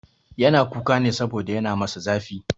Yana kuka ne saboda yana masa zafi.